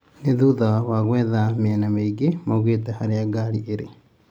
Nĩ thutha wa kwetha mĩena nyingĩ maugte ngari irĩ